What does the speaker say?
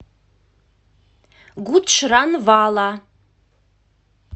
гуджранвала